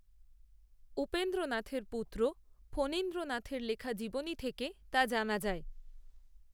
উপেন্দ্রনাথের পুত্র ফণীন্দ্রনাথের লেখা জীবনী থেকে, তা জানা যায়